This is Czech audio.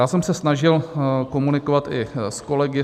Já jsem se snažil komunikovat i s kolegy.